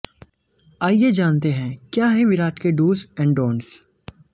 आइए जानते हैं क्या हैं विराट के डूज एंड डोंट्स